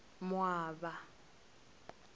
moaba